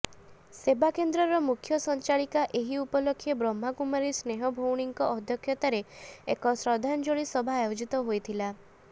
ସେବାକେନ୍ଦ୍ରର ମୁଖ୍ୟ ସଂଚାଳିକା ଏହି ଉପଲକ୍ଷେ ବ୍ରହ୍ମାକୁମାରୀ ସ୍ନେହ ଭଉଣୀଙ୍କ ଅଧ୍ୟକ୍ଷତାରେ ଏକ ଶ୍ରଦ୍ଧାଞ୍ଜଳି ସଭା ଆୟୋଜିତ ହୋଇଥିଲା